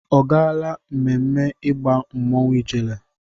Ọ gaala ememme ịgba mmọnwụ ijele?